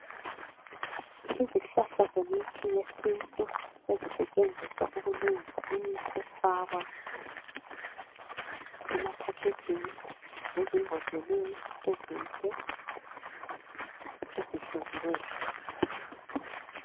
Izihlahla zemithi yesintu sezisetshenziswa ukufakwa emapakejini lezibhodleleni ezinhle ezihloliweyo.